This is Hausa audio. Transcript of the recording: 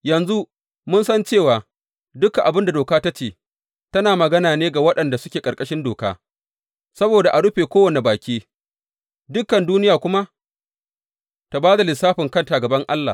Yanzu mun san cewa dukan abin da doka ta ce, tana magana ne ga waɗanda suke ƙarƙarshin doka, saboda a rufe kowane baki; dukan duniya kuma ta ba da lissafin kanta a gaban Allah.